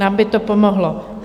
Nám by to pomohlo.